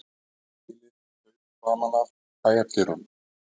Þilið fauk framan af bæjardyrunum